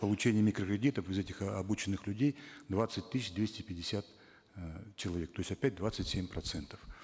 получение микрокредитов из этих э обученных людей двадцать тысяч двести пятьдесят э человек то есть опять двадцать семь процентов